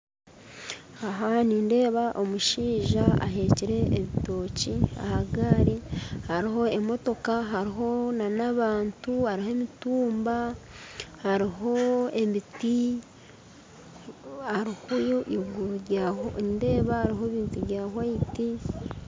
Aha nindeeba omushaija aheekire ebitookye aha gaari hariho emotoka hariho n'abantu hariho emitumba hariho emiti hariho eiguru rya nindeeba hariho ebintu bya hwaiti